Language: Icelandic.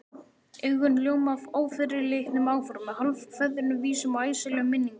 Augun ljóma af ófyrirleitnum áformum, hálfkveðnum vísum og æsilegum minningum.